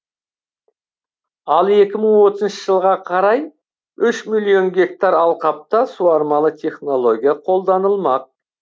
ал екі мың отызыншы жылға қарай үш миллион гектар алқапта суармалы технология қолданылмақ